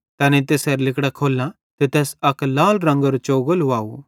तैनेईं तैसेरां लिगड़ां खोल्लां ते तैस अक लाल रंगेरो चोगो लुवाव